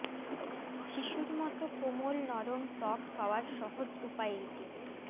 শিশুর মতো কোমল নরম ত্বক পাওয়ার সহজ উপায় এটি